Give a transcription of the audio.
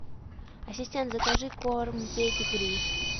ассистент закажи корм педигри